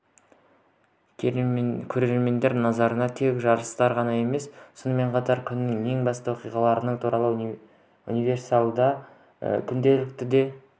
көрермендер назарына тек жарыстар ғана емес сонымен қатар күннің ең басты оқиғалары туралы универсиада күнделіктері де